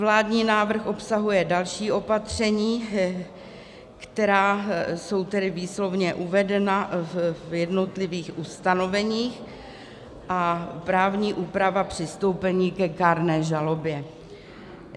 Vládní návrh obsahuje další opatření, která jsou tedy výslovně uvedena v jednotlivých ustanoveních, a právní úpravu přistoupení ke kárné žalobě.